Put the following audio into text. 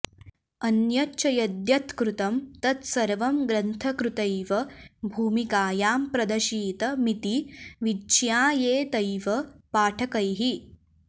अन्यच्च यद्यत्कृतं तत्सर्वं ग्रंथकृतैव भूमिकायां प्रदशित मिति विज्ञायेतैव पाठकैः